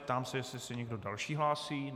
Ptám se, jestli se někdo další hlásí.